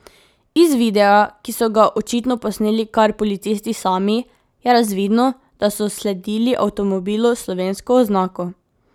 Iz videa, ki so ga očitno posneli kar policisti sami, je razvidno, da so sledili avtomobilu s slovensko oznako.